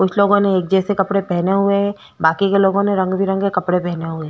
कुछ लोगोने एक जैसे कपडे पहने हुए है बाकि के लोगो ने रंग-बेरंगी कपडे पहने हुए है।